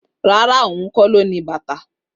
Rárá, ohun kó lo ní bàtà